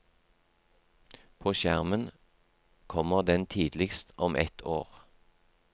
På skjermen kommer den tidligst om ett år.